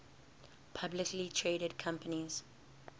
publicly traded companies